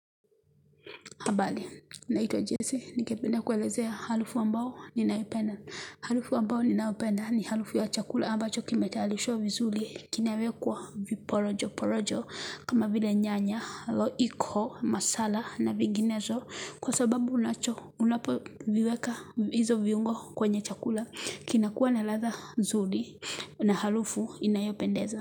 Habari, naitwa jese, ningependa kuelezea harufu ambao ninaipenda. Harufu ambao ninayopenda ni harufu ya chakula ambacho kimetarishwa vizuri kinawekwa viporojo. Porojo kama vile nyanya, roiko, masala na vinginezo kwa sababu unacho unapoviweka hizo viungo kwenye chakula. Kinakuwa na ladha nzuri na harufu inayopendeza.